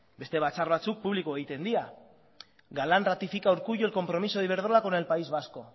beste batzar batzuk publiko egiten dira galán ratifica a urkullu el compromiso de iberdrola con el país vasco